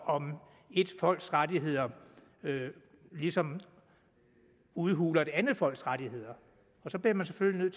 om ét folks rettigheder ligesom udhuler et andet folks rettigheder og så bliver man selvfølgelig